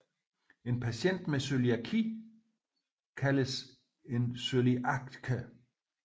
En patient med cøliaki kaldes en cøliaker